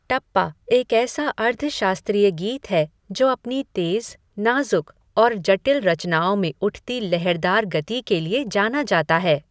टप्पा एक ऐसा अर्ध शास्त्रीय गीत है जो अपनी तेज़, नाज़ुक और जटिल रचनाओं में उठती लहरदार गति के लिए जाना जाता है।